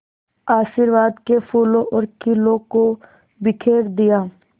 आशीर्वाद के फूलों और खीलों को बिखेर दिया